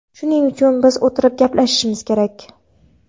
Shuning uchun biz o‘tirib gaplashishimiz kerak.